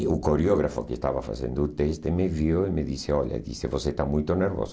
e o coreógrafo que estava fazendo o teste me viu e me disse, olha, disse você está muito nervoso.